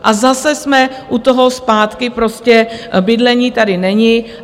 A zase jsme u toho zpátky, prostě bydlení tady není.